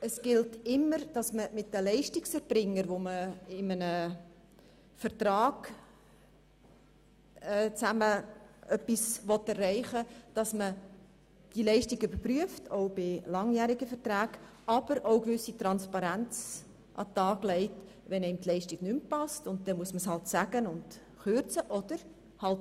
Auf der einen Seite gilt es, mit den Leistungserbringern die erbrachten Leistungen zu überprüfen, auch bei langjährigen Verträgen, und eine gewisse Transparenz an den Tag zu legen, wenn man mit einer Leistung nicht mehr einverstanden ist.